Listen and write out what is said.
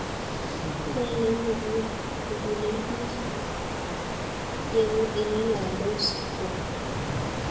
Belei mugulel bik yengololdos kwonyik